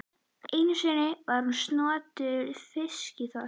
Einu sinni var hún snoturt fiskiþorp.